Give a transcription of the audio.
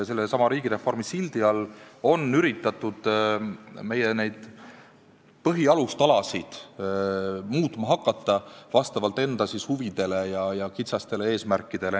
Sellesama riigireformi sildi all on üritatud neid põhialustalasid muutma hakata vastavalt enda huvidele ja kitsastele eesmärkidele.